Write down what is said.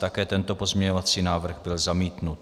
Také tento pozměňovací návrh byl zamítnut.